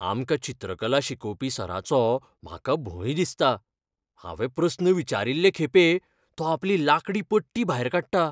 आमकां चित्रकला शिकोवपी सराचो म्हाका भंय दिसता. हांवें प्रस्न विचारील्लें खेपे तो आपली लाकडी पट्टी भायर काडटा.